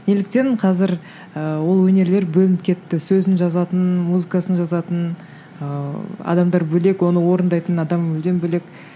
неліктен қазір ыыы ол өнерлер бөлініп кетті сөзін жазатын музыкасын жазатын ыыы адамдар бөлек оны орындайтын адам мүлдем бөлек